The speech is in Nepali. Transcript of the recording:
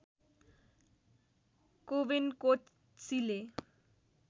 कोवेन कोट्सीले